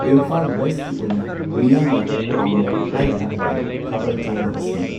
ꯏꯝꯐꯥꯜ ꯋꯦꯁꯀꯤ ꯑꯣꯏꯅ ꯃꯤꯌꯥꯝꯅ ꯄꯥꯝꯕ ꯍꯥꯏ ꯇꯥꯔꯗꯤ ꯊꯥꯕꯜ ꯆꯣꯡꯕ ꯑꯁꯤꯅꯤ꯫